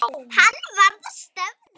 Hann varð að stöðva.